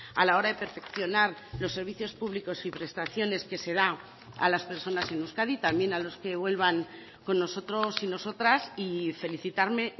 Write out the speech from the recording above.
a la hora de perfeccionar los servicios públicos y prestaciones que se da a las personas en euskadi también a los que vuelvan con nosotros y nosotras y felicitarme